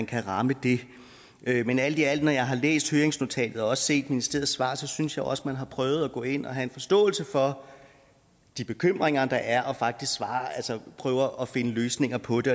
kan ramme det men alt i alt når jeg har læst høringsnotatet og også set ministeriets svar så synes jeg også at man har prøvet at gå ind og have en forståelse for de bekymringer der er og prøver at finde løsninger på det